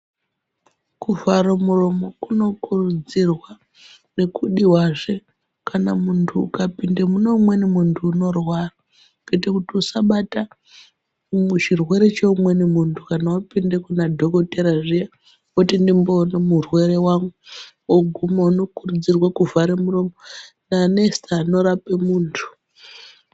Kuvhara muromo kunokurudzirwa nekudiwazve kana muntu ukapinde muneumeni muntu unorwara kuite kuti usabata chirwere cheumweni muntu kana wapinde kuna dhokodhera zviya woti ndimbone murwere wangu woguma unokurudzirwe kuvhare muromo nanesi